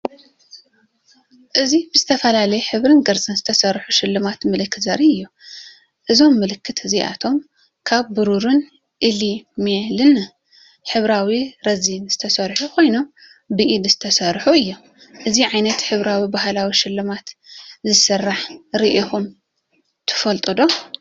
እዚ ብዝተፈላለየ ሕብርን ቅርጽን ዝተሰርሑ ሽልማት ምልክት ዘርኢ እዩ። እዞም ምልክት እዚኣቶም ካብ ብሩርን ኢናሜልን ሕብራዊ ረዚንን ዝተሰርሑ ኮይኖም ብኢድ ዝተሰርሑ እዮም። እዚ ዓይነት ሕብራዊ ባህላዊ ሽልማት ዝስራሕ ርኢኹም ትፈልጡ ዶ?